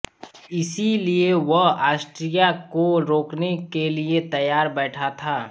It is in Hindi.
इसीलिए वह ऑस्ट्रिया को रोकने के लिए तैयार बैठा था